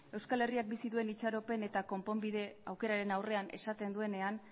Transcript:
euskal herriak bizi duen itxaropen eta konponbide aukeraren aurrean esaten duenean